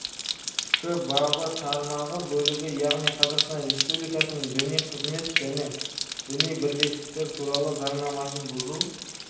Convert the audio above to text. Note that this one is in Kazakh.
тк бабы тармағы бөлігі яғни қазақстан республикасының діни қызмет және діни бірлестіктер туралы заңнамасын бұзу